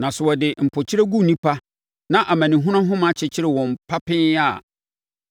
Na sɛ wɔde mpokyerɛ gu nnipa na amanehunu ahoma akyekyere wɔn papee a,